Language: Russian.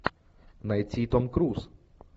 найти том круз